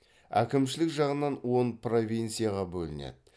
әкімшілік жағынан он провинцияға бөлінеді